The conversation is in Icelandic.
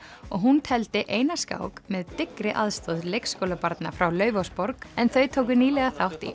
og hún tefldi eina skák með dyggri aðstoð leikskólabarna frá Laufásborg en þau tóku nýlega þátt í